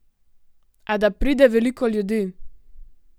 A da pride veliko ljudi?